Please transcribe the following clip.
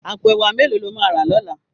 Àpó èwá méló ló má rá lòlá?